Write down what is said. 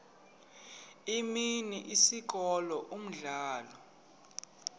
imini isikolo umdlalo